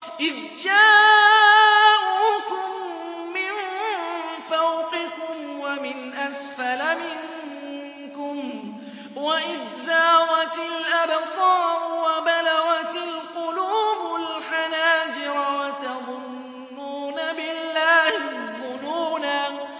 إِذْ جَاءُوكُم مِّن فَوْقِكُمْ وَمِنْ أَسْفَلَ مِنكُمْ وَإِذْ زَاغَتِ الْأَبْصَارُ وَبَلَغَتِ الْقُلُوبُ الْحَنَاجِرَ وَتَظُنُّونَ بِاللَّهِ الظُّنُونَا